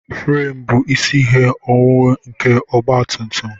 Furem bụ isi ihe owuwu nke ọgba tum tum